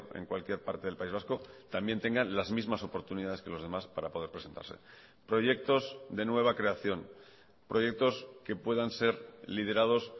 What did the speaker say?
en cualquier parte del país vasco también tengan las mismas oportunidades que los demás para poder presentarse proyectos de nueva creación proyectos que puedan ser liderados